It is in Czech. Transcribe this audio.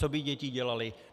Co by děti dělaly.